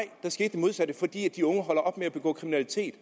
modsatte fordi de unge holder op med at begå kriminalitet